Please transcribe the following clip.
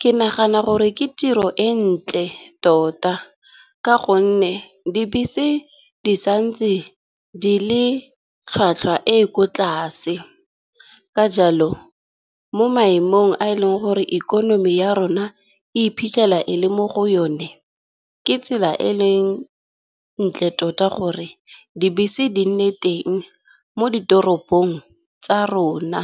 Ke nagana gore ke tiro e ntle tota ka gonne dibese di sa ntse di le tlhwatlhwa e ko tlase, ka jalo mo maemong a eleng gore ikonomi ya rona e iphitlhela e le mo go yone, ke tsela e e leng ntle tota gore dibese di nne teng mo ditoropong tsa rona.